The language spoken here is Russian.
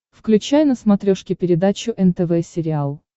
включай на смотрешке передачу нтв сериал